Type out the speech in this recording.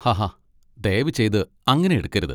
ഹാഹാ ദയവുചെയ്ത് അങ്ങനെ എടുക്കരുത്.